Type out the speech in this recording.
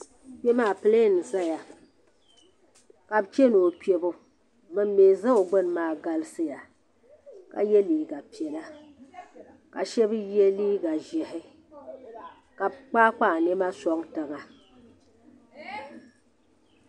Kpe maa pilɛɛn n zaya ka bi chana o kpebu bin mi za o gbuni maa galisiya ka yɛ liiga piɛla ka shɛba yɛ liiga ʒiɛhi ka bi kpayi kpayi nɛma sɔŋ tiŋa.